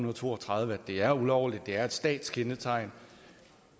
og to og tredive at det er ulovligt at det er et statskendetegn